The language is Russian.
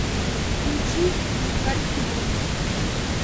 включи глухарь в кино